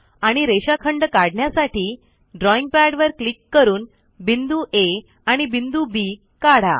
आणि रेषाखंड काढण्यासाठी ड्रॉईंग पॅडवर क्लिक करून बिंदू आ आणि बिंदू बी काढा